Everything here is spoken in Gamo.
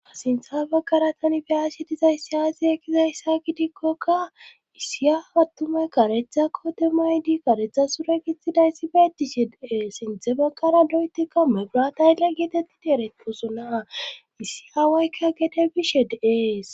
asintha baggara tani beyashi dizayssiya zieekizayssa gidikkokka issiya attume karetha koote maydi karetha sure gitxidayssi beetishe deee sinthe baggara doyeti ka megura taylle geetetti deereposo naa issi aawaykka gede bishe deees